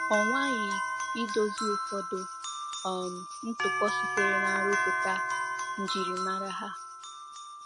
Ọ nwaghị idozi ụfọdụ um ntụpọ sitere na-nrụpụta ’ njirimara ha.'